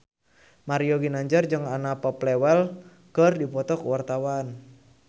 Mario Ginanjar jeung Anna Popplewell keur dipoto ku wartawan